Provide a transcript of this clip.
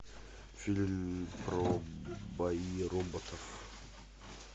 фильм про бои роботов